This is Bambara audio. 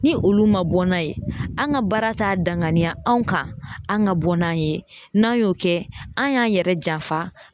Ni olu ma bɔ n'a ye, an ka baara t'a danganiya anw kan an ka bɔ n'an ye ,n'an y'o kɛ an y'an yɛrɛ janfa